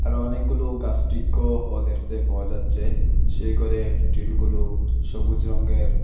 আরো অনেকগুলো দেখতে পাওয়া যাচ্চে সেই গরের টিন -গুলো সবুজ রঙ্গের।